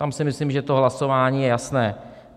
Tam si myslím, že to hlasování je jasné.